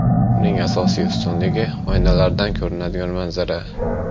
Uning asosiy ustunligi oynalardan ko‘rinadigan manzara.